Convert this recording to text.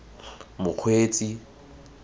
mokgweetsi